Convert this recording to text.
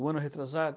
O ano retrasado.